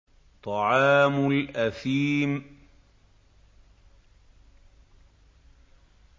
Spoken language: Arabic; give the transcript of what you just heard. طَعَامُ الْأَثِيمِ